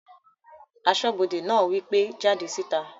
Asọ́bodè náà wí pé "jáde síta!"